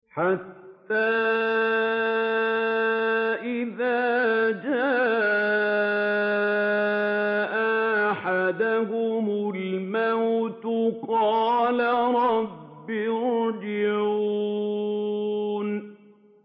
حَتَّىٰ إِذَا جَاءَ أَحَدَهُمُ الْمَوْتُ قَالَ رَبِّ ارْجِعُونِ